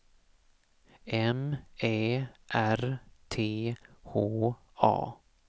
M Ä R T H A